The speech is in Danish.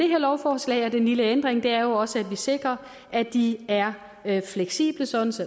lovforslag og den lille ændring er jo også at vi sikrer at de er fleksible sådan